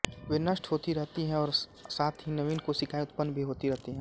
वे नष्ट होती रहती हैं और साथ ही नवीन कोशिकाएँ उत्पन्न भी होती रहती हैं